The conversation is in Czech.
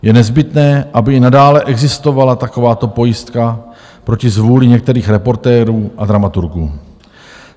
Je nezbytné, aby i nadále existovala takováto pojistka proti zvůli některých reportérů a dramaturgů.